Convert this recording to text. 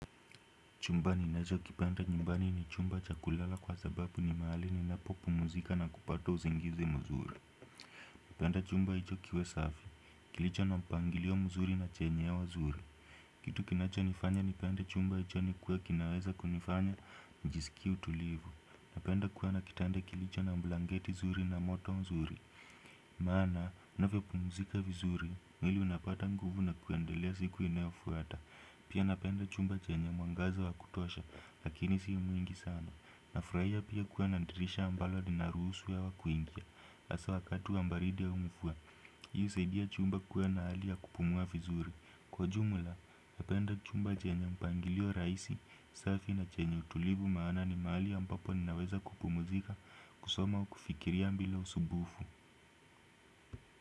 Chumba ninacho kipenda nyumbani ni chumba cha kulala kwa sababu ni mahali ninapo pumzika na kupata usingizi mzuri napenda chumba hicho kiwe safi, kilicho na mpangilio mzuri na chenye uwa zuri. Kitu kinacho nifanya nipende chumba hicho ni kuwa kinaweza kunifanya njisikie tulivu. Napenda kuwa na kitanda kilicho na blanketi zuri na moto mzuri. Maana, unavyo pumzika vizuri, mwili unapata nguvu na kuendelea siku inayofuata. Pia napenda chumba chenye mwangaza wa kutosha, lakini si mwingi sana. Nafurahia pia kuwa na dirisha ambalo linaruhusu hewa kuingia. Hasa wakati wa baridi au mvua. Hii husaidia chumba kuwa na hali ya kupumua vizuri. Kwa ujumla, napenda chumba chenye mpangilio rahisi, safi na chenye utulivu maana ni mahali ambapo ninaweza kupumzika, kusoma au kufikiria bila usumbufu.